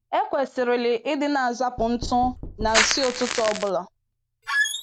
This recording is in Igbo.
E kwesịrịlị ịdị na-azapụ ntụ na nsị ụtụtụ ọ bụla.